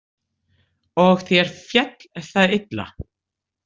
Og þér féll það illa?